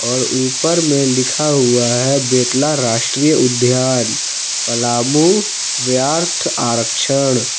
और उपर में लिखा हुआ है बेतला राष्ट्रीय उद्यान पलामू व्याध आरक्षण।